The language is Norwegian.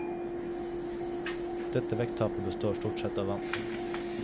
Dette vekttapet består stort sett av vann.